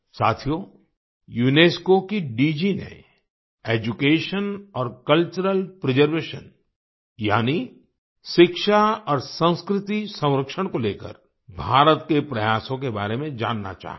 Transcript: साथियो यूनेस्को की डीजी ने एड्यूकेशन और कल्चरल प्रिजर्वेशन यानी शिक्षा और संस्कृति संरक्षण को लेकर भारत के प्रयासों के बारे में जानना चाहा है